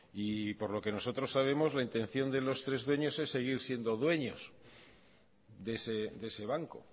y por lo que nosotros sabemos la intención de los tres dueños es seguir siendo dueños de ese banco